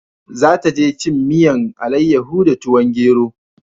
Za ta je cin miyan alayaho da tuwon gero